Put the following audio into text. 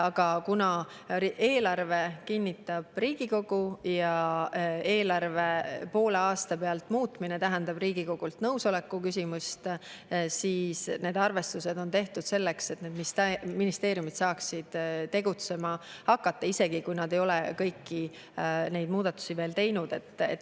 Aga kuna eelarve kinnitab Riigikogu ja eelarve poole aasta pealt muutmine tähendab Riigikogult nõusoleku küsimist, siis need arvestused on tehtud selleks, et ministeeriumid saaksid tegutsema hakata, isegi kui nad ei ole kõiki neid muudatusi veel teinud.